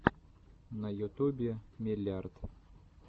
на ютубе меллиарт